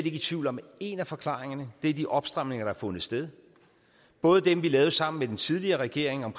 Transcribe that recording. i tvivl om at en af forklaringerne er de opstramninger der har fundet sted både dem vi lavede sammen med den tidligere regering om